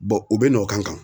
u bɛ n'o kan kan.